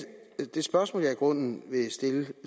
det spørgsmål jeg i grunden vil stille